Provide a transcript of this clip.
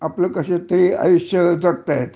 आपले कस तरी आयुष्य जगतात